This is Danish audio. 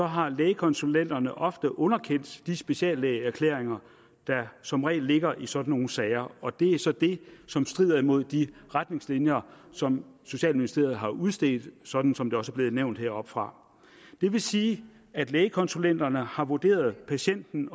har lægekonsulenterne ofte underkendt de speciallægeerklæringer der som regel ligger i sådan nogle sager og det er så det som strider imod de retningslinjer som socialministeriet har udstedt sådan som det også er blevet nævnt heroppefra det vil sige at lægekonsulenterne ofte har vurderet patienten